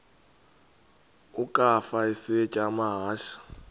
ukafa isitya amahashe